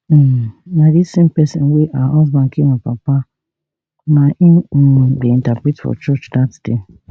um na di same pesin wey her husband kill my papa na im um dey interpret for church dat day